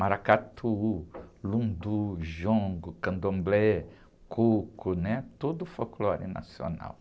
Maracatu, lundu, jongo, candomblé, coco, né? Todo o folclore nacional.